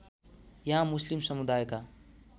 यहाँ मुस्लिम समुदायका